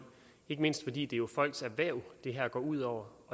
ikke mindst fordi det jo er folks erhverv det her går ud over